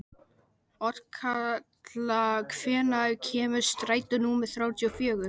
Otkatla, hvenær kemur strætó númer þrjátíu og fjögur?